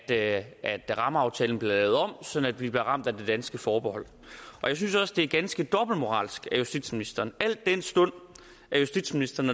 at at rammeaftalen bliver lavet om sådan at vi bliver ramt af det danske forbehold og jeg synes også det er ganske dobbeltmoralsk af justitsministeren al den stund justitsministeren